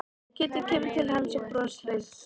Kiddi kemur til hans og er brosleitur.